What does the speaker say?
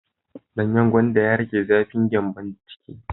Danyen gwandan ya rage zafin gyanbon ciki.